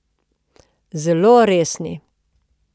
Zelo resni.